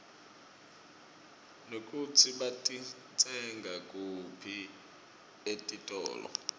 nekutsi batitsenga kuphi etitolo